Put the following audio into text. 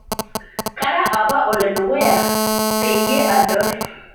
kara apa ole dukuya peyie adol